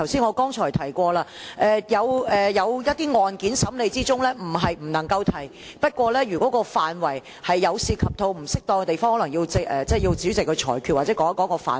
我剛才提過，有一些案件在審理中，不是不能夠提及，不過，如果範圍涉及到不適當的地方，可能要主席裁決或指出相關範圍。